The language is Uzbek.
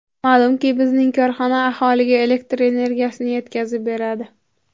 Ma’lumki, bizning korxona aholiga elektr energiyasini yetkazib beradi.